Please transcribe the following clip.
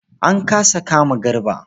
An kasa kama Garba.